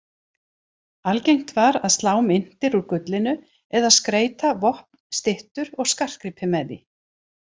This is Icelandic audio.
Algengt var að slá myntir úr gullinu eða skreyta vopn, styttur og skartgripi með því.